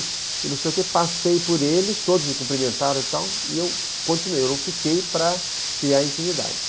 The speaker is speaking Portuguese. E não sei o que, passei por eles, todos me cumprimentaram e tal, e eu continuei, eu não fiquei para criar intimidade.